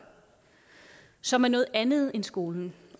som er noget andet end skolen